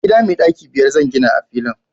gida mai daki biyar zan gina a filin